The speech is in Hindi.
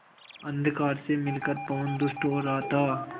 अंधकार से मिलकर पवन दुष्ट हो रहा था